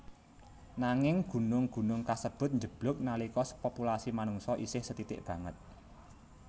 Nanging gunung gunung kasebut njeblug nalika populasi manungsa isih sethithik banget